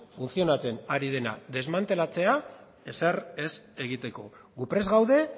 funtzionatzen ari dena desmantelatzea ezer ez egiteko gu prest gaude